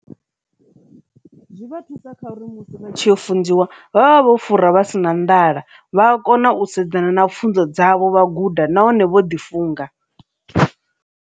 Zwi vha thusa kha uri musi vha tshi funziwa vhavha vha si na nḓala, vha a kona u sedzana na pfhunzo dzavho vha guda nahone vho ḓi funga.